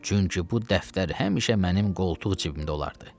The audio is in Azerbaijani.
Çünki bu dəftər həmişə mənim qoltuq cibimdə olardı.